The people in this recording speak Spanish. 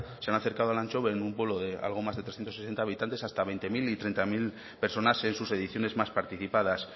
se han acercado a elantxobe en un pueblo de algo más de trescientos sesenta habitantes hasta veinte mil y treinta mil personas en sus ediciones más participadas